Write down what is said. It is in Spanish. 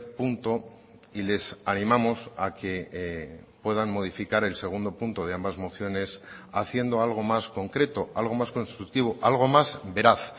punto y les animamos a que puedan modificar el segundo punto de ambas mociones haciendo algo más concreto algo más constructivo algo más veraz